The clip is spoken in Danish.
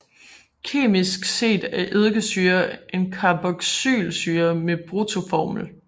Kemisk set er eddikesyre en carboxylsyre med bruttoformel